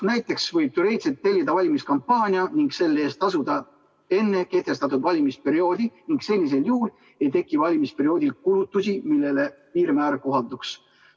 Näiteks võib teoreetiliselt tellida valimiskampaania ning selle eest tasuda enne kehtestatud valimisperioodi ning sellisel juhul ei teki valimisperioodil kulutusi, millele piirmäär kohalduks.